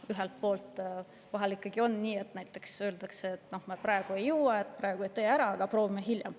Vahel on nii, et näiteks öeldakse, et me praegu ei jõua, praegu ei tee, aga proovime hiljem.